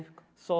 Só.